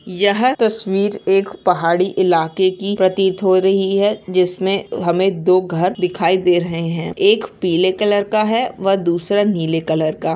यह तस्वीर एक पहाड़ी इलाके की प्रतीत हो रही है जिसमें हमें दो घर दिखाई दे रहे हैं एक पीले कलर का है व दूसरा नील कलर का।